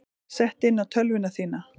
Sett inn á tölvuna þína.